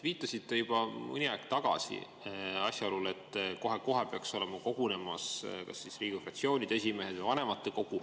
Viitasite juba mõni aeg tagasi asjaolule, et kohe-kohe peaks kogunema kas Riigikogu fraktsioonide esimehed või vanematekogu.